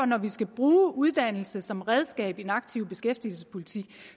når vi skal bruge uddannelse som redskab i den aktive beskæftigelsespolitik